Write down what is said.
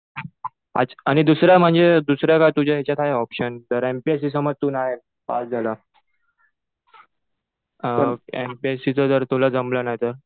अच्छा. आणि दुसरं म्हणजे दुसरं काही तुझ्या ह्याच्यात आहे ऑप्शन? जर एमपीएससी समज तु नाही पास झाला. एमपीएससीचं जर तुला जमलं नाही तर?